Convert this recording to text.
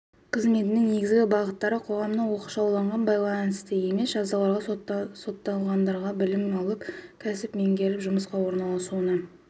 қызметінің негізгі бағыттары қоғамнан оқшаулаумен байланысты емес жазаларға сотталғандарға білім алып кәсіп меңгеріп жұмысқа орналасуына